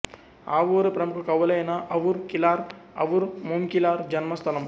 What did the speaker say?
ఆవూరు ప్రముఖ కవులైన అవుర్ కిలార్ అవుర్ మూంకిలార్ జన్మస్థలం